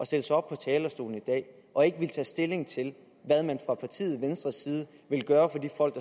stille sig op på talerstolen i dag og ikke ville tage stilling til hvad man fra partiet ventres side vil gøre for de folk